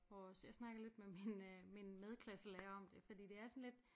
Vores jeg snakkede lidt med min øh min medklasselærer om det fordi det er sådan lidt